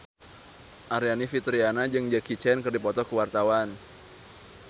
Aryani Fitriana jeung Jackie Chan keur dipoto ku wartawan